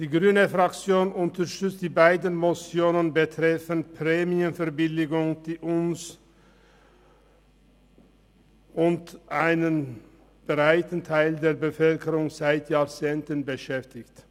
Die grüne Fraktion unterstützt beide Motionen betreffend Prämienverbilligungen, die uns und einen breiten Teil der Bevölkerung seit Jahrzehnten beschäftigen.